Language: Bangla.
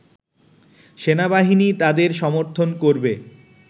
সেনাবাহিনী তাদের ‘সমর্থন’ করবে